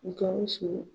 Gawusu